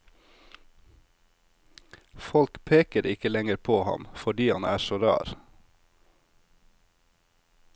Folk peker ikke lenger på ham fordi han er så rar.